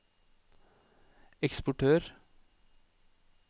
eksportør